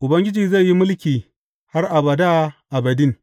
Ubangiji zai yi mulki har abada abadin.